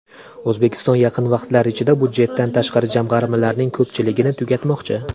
O‘zbekiston yaqin vaqtlar ichida budjetdan tashqari jamg‘armalarning ko‘pchiligini tugatmoqchi.